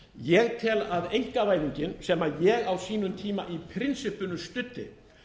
ég tel að einkavæðingin sem ég á sínum tíma í prinsippinu studdi